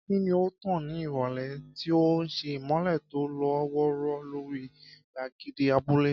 Kí ni ó tàn ní ìrọ̀lẹ́, tí ó ń ṣe ìmọ́lẹ̀ tó lọ́ wọ́ọ́rọ́ lórí gbàgede abúlé?